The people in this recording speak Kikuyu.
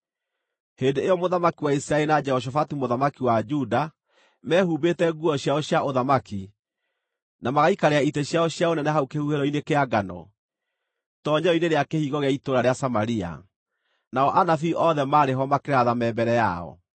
Hĩndĩ ĩyo mũthamaki wa Isiraeli na Jehoshafatu mũthamaki wa Juda mehumbĩte nguo ciao cia ũthamaki na magaikarĩra itĩ ciao cia ũnene hau kĩhuhĩro-inĩ kĩa ngano, itoonyero-inĩ rĩa kĩhingo gĩa itũũra rĩa Samaria, nao anabii othe maarĩ ho makĩratha me mbere yao.